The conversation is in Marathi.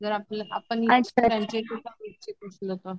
जर आपण त्यांचे